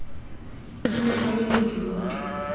a ne a le bodutu